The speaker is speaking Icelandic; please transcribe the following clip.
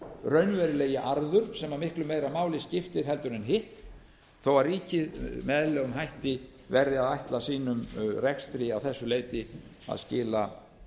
raunverulegi arður sem miklu meira máli skiptir heldur en hitt þó að ríkið með eðlilegum hætti verði að ætla sínum rekstri að þessu leyti að skila